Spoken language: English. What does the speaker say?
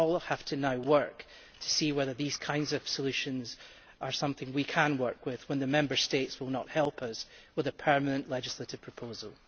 We now all have to work to see whether these kinds of solutions are something we can work with when the Member States will not help us by coming up with a permanent legislative proposal.